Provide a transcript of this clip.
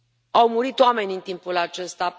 Au murit oameni în timpul acesta